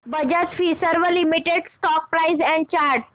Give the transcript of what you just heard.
Bajaj Finserv limited stock price and chart